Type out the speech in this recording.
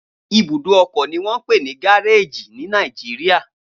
Ibùdó ọkọ ni wọ́n ń pè ní gáréèjì ní Nàìjíríà